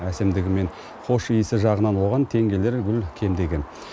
әсемдігі мен хош иісі жағынан оған тең келер гүл кем де кем